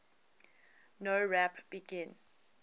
nowrap begin